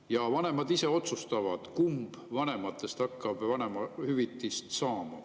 Ja vanemad ise otsustavad, kumb vanematest hakkab vanemahüvitist saama.